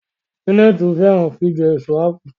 Janet fẹràn jíjẹ Èso ápù